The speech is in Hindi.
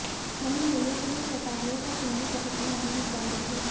वहीं मेले के लिए व्यापारियों का कुल्लू पहुंचना अभी भी जारी है